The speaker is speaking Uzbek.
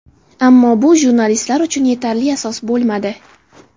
Ammo bu jurnalistlar uchun yetarli asos bo‘lmadi.